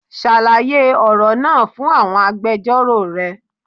Ṣàlàyé ọ̀rọ̀ náà fún àwọn agbẹjọ́rò rẹ